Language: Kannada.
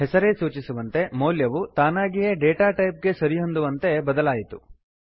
ಹೆಸರೇ ಸೂಚಿಸುವಂತೆ ಮೌಲ್ಯವು ತಾನಾಗಿಯೇ ಡೇಟಾ ಟೈಪ್ ಗೆ ಸರಿಹೊಂದುವಂತೆ ಬದಲಾಯಿತು